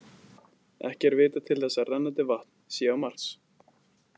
Ekki er vitað til þess að rennandi vatn sé á Mars.